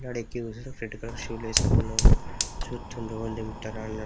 పిల్లగాడు కూసుండు. చెట్టుకాడ షూ లేసుకుండు. ఆ చుత్తుండు ఎవలు దింపుతరా అని--